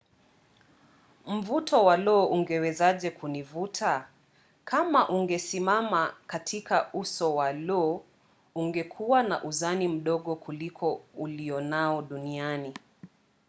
mvuto wa lo ungewezaje kunivuta? kama ungesimama katika uso wa lo ungekuwa na uzani mdogo kuliko ulionao duniani